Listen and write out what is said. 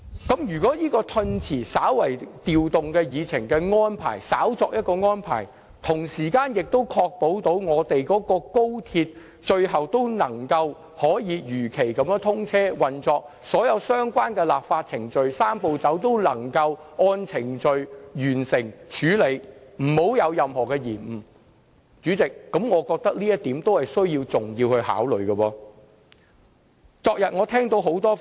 不過，如果調動議程押後審議《條例草案》的安排，能夠確保高鐵如期通車，而所有相關立法程序和"三步走"亦能一一完成，沒有任何延誤，那麼我認為這也是重要的考慮因素。